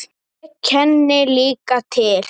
Ég kenni líka til.